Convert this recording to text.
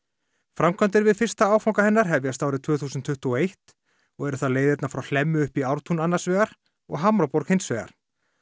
framkvæmdir við fyrstu áfanga hennar hefjast árið tvö þúsund tuttugu og eitt og eru það leiðirnar frá Hlemmi upp í Ártún annars vegar og Hamraborg hins vegar